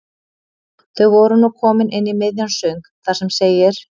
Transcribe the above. Þau voru nú komin inn í miðjan söng þar sem segir